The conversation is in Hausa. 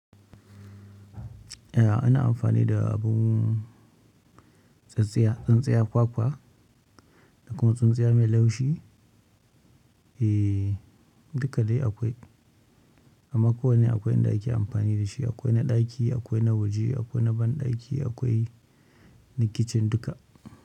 Eh ana amfani da abun tsintsiya, tsintsiyar kwakwa da kuma tsintsiyar mai laushi. Eh duka dai akwai amma ko wane akwai in da ake amfanin da shi, akwai na ɗaki, akwai na waje, akwai na banɗaki akwai na kicin duka.